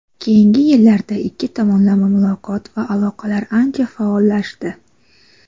Keyingi yillarda ikki tomonlama muloqot va aloqalar ancha faollashdi.